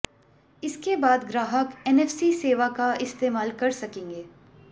इसके बाद ग्राहक एनफसी सेवा का इस्तेमाल कर सकेंगे